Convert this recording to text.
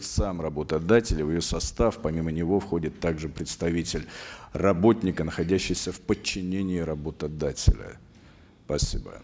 сам работодатель в ее состав помимо него входит также представитель работника находящийся в подчинении работодателя спасибо